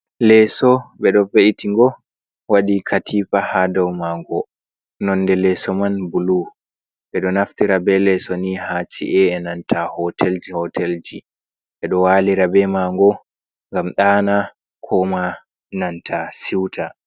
Leeso ɓe ɗo veiti'ngo waɗi katifa ha dau maa'ngo nonde leeso man bulu. Ɓe ɗo naftira be leeso nii ha ci’ae nanta hotelji-hotelji, ɓe ɗo walira be mango ngam daana koma nanta siuta.